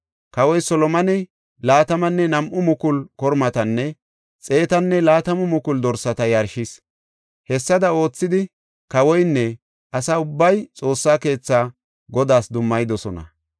Kawoy Solomoney laatamanne nam7u mukulu kormatanne xeetanne laatamu mukulu dorsata yarshis. Hessada oothidi, kawoynne asa ubbay Xoossa keethaa Godaas dummayidosona.